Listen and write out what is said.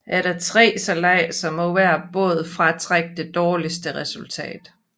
Efter tre sejladser må hver båd fratrække det dårligste resultat